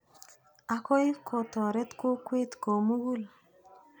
Akoi kotoret kokwet ko mukul.